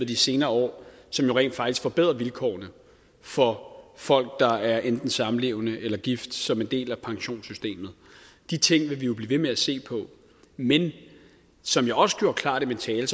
de senere år og som jo rent faktisk forbedrer vilkårene for folk der enten er samlevende eller gift som en del af pensionssystemet de ting vil vi blive ved med at se på men som jeg også gjorde klart i min tale er